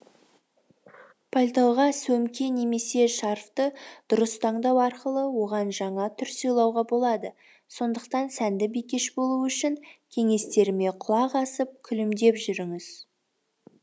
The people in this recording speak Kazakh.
пальтоға сөмке немесе шарфты дұрыс таңдау арқылы оған жаңа түр сыйлауға болады сондықтан сәнді бикеш болу үшін кеңестеріме құлақ асып күлімдеп жүріңіз